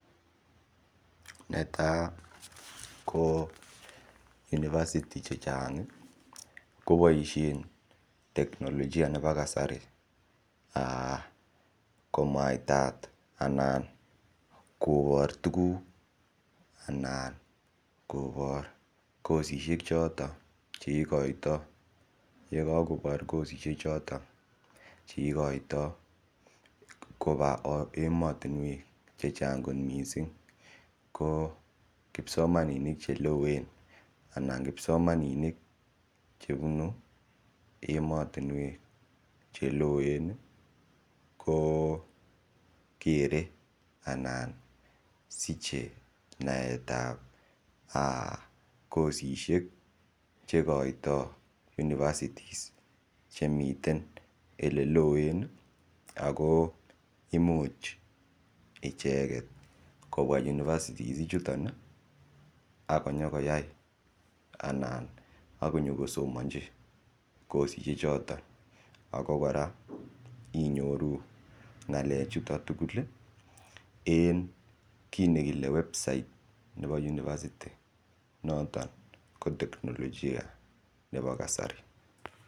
Netai ko university chechang ih kobaisien teknologia nebo kasari [um]komamwaitat anan kobar tuguk anan kobar kosishek choton cheikoita yekakobar kosishek choton cheikoita koba emotinuek chechang kot missing ko kipsomaninik chebunu emotinuek cheloen ih ko kokere anan siche naetab um kosishek cheikoito university chemiten eleloen Ako imuch icheket kobwa university ichuton ih akonyokoyai anan akonyokosamachi kosishek choton inyoru ng'alek chuto tugul en kit nekile website nebo university noton ko teknologia nebo kasari